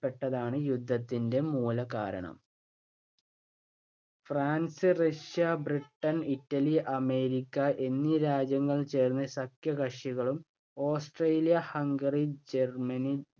ട്ടതാണ് യുദ്ധത്തിന്‍റെ മൂലകാരണം. France, Russia, Britain, Italy, America എന്നീ രാജ്യങ്ങൾ ചേർന്ന് സഖ്യ കക്ഷികളും, ഓസ്ട്രേലിയ-ഹംഗറി, ജർമ്മനി,